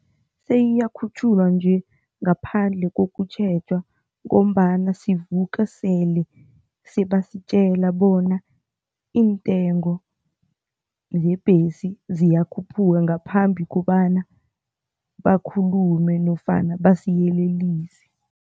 Seyiyakhutjhulwa nje ngaphandle kokutjheja ngombana sivuka sele sebasitjela bona iintengo zebhesi ziyakhuphuka ngaphambi kobana bakhulume nofana basiyelelise.